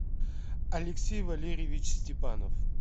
алексей валерьевич степанов